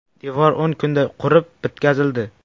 Devor o‘n kunda qurib bitkazildi.